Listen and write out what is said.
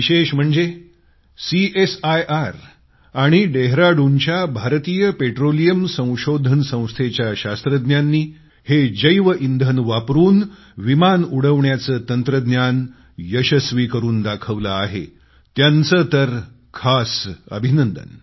विशेष म्हणजे डेहराडूनच्या भारतीय पेट्रोलियम संशोधन संस्थेच्या शास्त्रज्ञांनी हे जैवइंधन वापरून विमान उडवण्याचे तंत्रज्ञान यशस्वी करून दाखवले आहे त्यांचे तर खास अभिनंदन